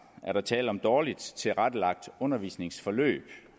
er der tale om dårligt tilrettelagte undervisningsforløb